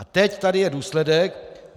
A teď tady je důsledek.